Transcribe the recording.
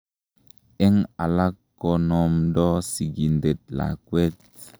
En alak, konomdo sikintet lakwet.